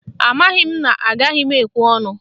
Amaghị m na agaghị m ekwe ọnụ